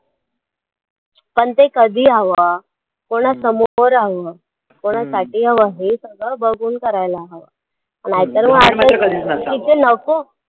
पण ते कधी हवं, कोणासमोर हवं, कोणासाठी हवं हे सगळं बघून करायला हवं नाही तर मग तिथे नको.